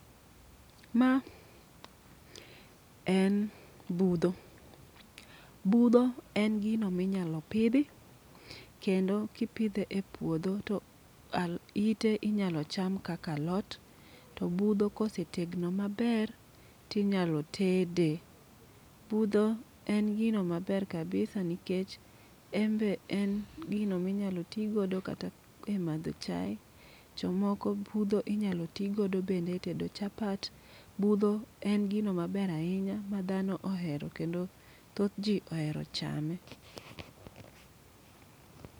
Ma en budho, budho en gino minyalo pidhi. Kendo kipidhe e puodho to al ite inyalo cham kaka alot. To budho kose tegno maber, tinyalo tede. Budho en gino ma ber kabisa nikech embe en gino minyalo tigo kata e madho chae. Jomoko budho inyalo tigodo bende e tedo chapat. Budho en gino maber ahinya ma dhano ohero kendo thoth ji ohero chame.